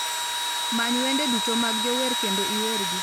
Many wende duto mag jower kendo iwergi